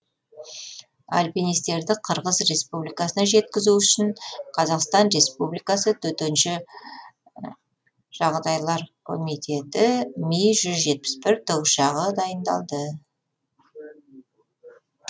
альпинистерді қырғыз республикасына жеткізу үшін қазақстан республикасы төтенше жағдайлар комитеті ми жүз жетпіс бір тікұшағы дайындалды